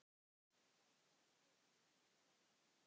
Hann var alltaf hægri krati!